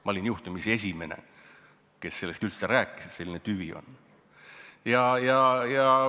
Ma olin juhtumisi esimene, kes sellest üldse rääkis, et selline tüvi on.